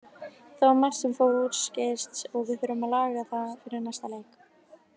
Það var margt sem fór úrskeiðis og við þurfum að laga það fyrir næsta leik.